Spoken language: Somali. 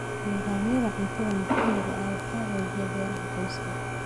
Nidaamyada cuntada maxalliga ah waxaa xoojiya beeraha qoyska.